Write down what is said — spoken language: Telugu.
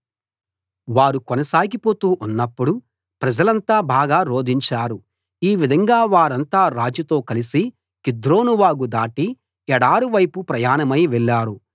వారు కొనసాగిపోతూ ఉన్నప్పుడు ప్రజలంతా బాగా రోదించారు ఈ విధంగా వారంతా రాజుతో కలసి కిద్రోనువాగు దాటి ఎడారి వైపు ప్రయాణమై వెళ్ళారు